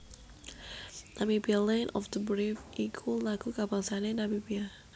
Namibia Land of the Brave iku lagu kabangsané Namibia